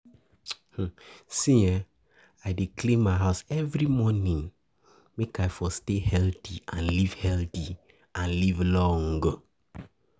See ehn, I dey clean house every morning make I for stay healthy and live healthy and live long.